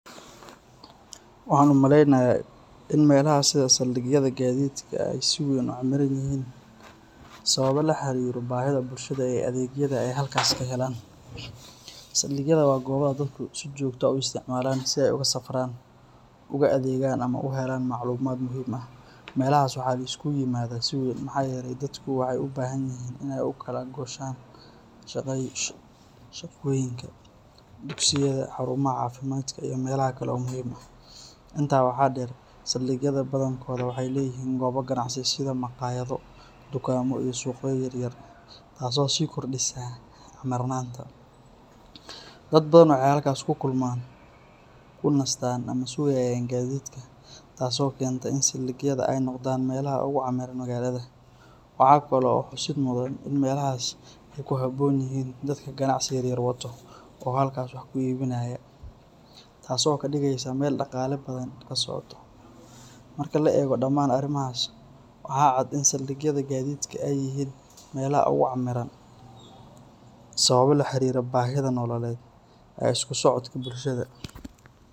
Waxaan u maleynayaa in meelaha sida saldhigyada gaadiidka ay si weyn u camiran yihiin sababo la xiriira baahida bulshada ee adeegyada ay halkaas ka helaan. Saldhigyada waa goobaha dadku si joogto ah u isticmaalaan si ay ugu safraan, uga adeegan ama uga helaan macluumaad muhiim ah. Meelahaas waxaa la isugu yimaadaa si weyn maxaa yeelay dadku waxay u baahan yihiin inay u kala gooshaan shaqooyinka, dugsiyada, xarumaha caafimaadka iyo meelaha kale oo muhiim ah. Intaa waxaa dheer, saldhigyada badankooda waxay leeyihiin goobo ganacsi sida makhaayado, dukaamo, iyo suuqyo yar yar taasoo sii kordhisa camirnaanta. Dad badan waxay halkaas ku kulmaan, ku nastaan ama sugayaan gaadiidka, taasoo keenta in saldhigyada ay noqdaan meelaha ugu camiran magaalada. Waxaa kaloo xusid mudan in meelahaas ay ku habboon yihiin dadka ganacsiga yar yar wato oo halkaas wax ku iibinaya, taasoo ka dhigaysa meel dhaqaale badan ka socdo. Marka la eego dhamaan arrimahaas, waxa cad in saldhigyada gaadiidka ay yihiin meelaha ugu camiran sababo la xiriira baahida nololeed iyo isku socodka bulshada.